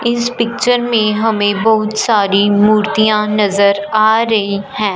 इस पिक्चर में हमें बहुत सारी मूर्तियां नज़र आ रही हैं।